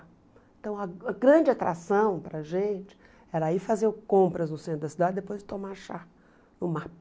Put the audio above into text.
Então, a grande atração para a gente era ir fazer compras no centro da cidade e depois tomar chá no Map.